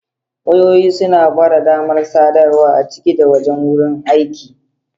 Wayoyi suna ba da damar sadarwa a ciki da wajen wurin aiki.